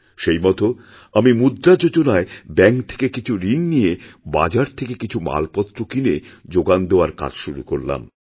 সেই মত আমি মুদ্রা যোজনায় ব্যাঙ্ক থেকে কিছু ঋণনিয়ে বাজার থেকে কিছু মালপত্র কিনে যোগান দেওয়ার কাজ শুরু করলাম